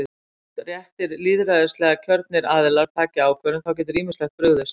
Þótt réttir lýðræðislega kjörnir aðilar taki ákvörðun, þá getur ýmislegt brugðist.